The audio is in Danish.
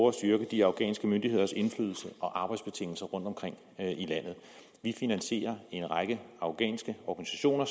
at styrke de afghanske myndigheders indflydelse og arbejdsbetingelser rundtomkring i landet vi finansierer en række afghanske organisationer